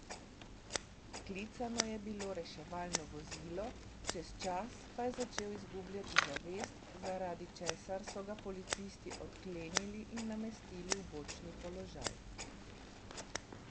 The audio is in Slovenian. Klicano je bilo reševalno vozilo, čez čas pa je začel izgubljati zavest, zaradi česar so ga policisti odklenili in namestili v bočni položaj.